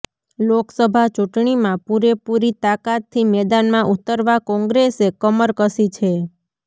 લોકસભા ચૂંટણીમાં પૂરેપૂરી તાકાતથી મેદાનમાં ઉતરવા કોંગ્રેસે કમર કસી છે